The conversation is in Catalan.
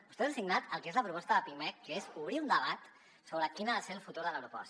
vostès han signat el que és la proposta de pimec que és obrir un debat sobre quin ha de ser el futur de l’aeroport